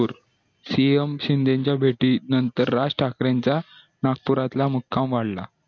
cm Shinde च्या भेटी नंतर राजठाकरेज्या नाकपुरातला मुकाम वाढला